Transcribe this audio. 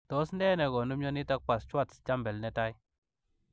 Tos nee negonuu mionitok poo Schwartz Jampel netai?